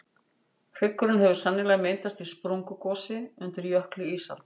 hryggurinn hefur sennilega myndast í sprungugosi undir jökli ísaldar